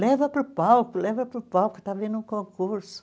Leva para o palco, leva para o palco, está havendo um concurso.